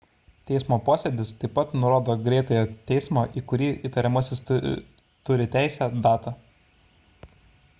teismo posėdis taip pat nurodo greitojo teismo į kurį įtariamasis turi teisę datą